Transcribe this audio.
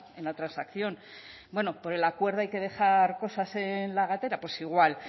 en la transacción bueno por el acuerdo hay que dejar cosas en la gatera pues igual